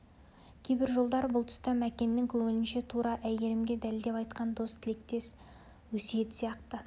кейбір жолдар бұл тұста мәкеннің көңілінше тура әйгерімге дәлдеп айтқан дос тілектес өсиет сияқты